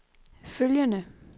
følgende